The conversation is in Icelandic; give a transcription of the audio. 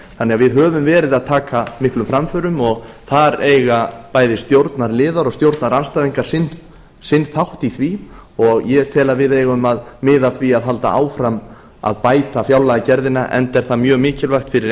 þannig að við höfum verið að taka miklum framförum og þar eiga bæði stjórnarliðar og stjórnarandstæðingar sinn þátt í því og ég tel að við eigum að halda áfram að bæta fjárlagagerðina enda er það mjög mikilvægt fyrir